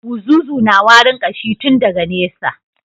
Buzuzu na warin kashi tun daga nesa.